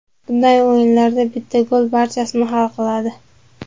Bunday o‘yinlarda bitta gol barchasini hal qiladi.